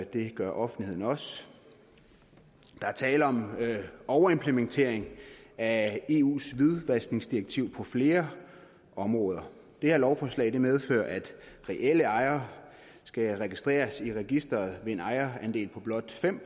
det gør offentligheden også der er tale om overimplementering af eus hvidvaskningsdirektiv på flere områder det her lovforslag medfører at reelle ejere skal registreres i registeret med en ejerandel på blot fem